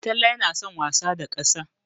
Talle yana son wasa da ƙasa.